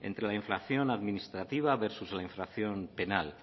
entre la inflación administrativa versus la inflación penal